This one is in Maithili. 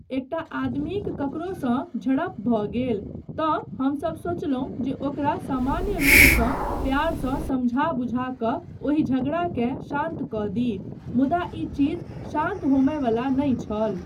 एकटा आदमीक ककरोसँ झड़प भऽ गेल तँ हमसब सोचलहुँ जे ओकरा सामान्य रूपसँ प्यारसँ समझा बुझा कऽ ओहि झगड़ाकेँ शान्त कऽ दी मुदा ई चीज शान्त होमयवला नहि छल।